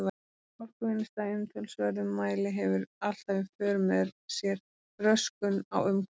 Orkuvinnsla í umtalsverðum mæli hefur alltaf í för með sér röskun á umhverfi.